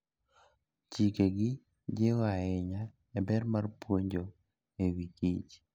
Chikegi jiwo ahinya ber mar puonjo e wi kich.